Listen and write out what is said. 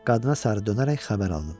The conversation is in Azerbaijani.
Qadına sarı dönərək xəbər aldım.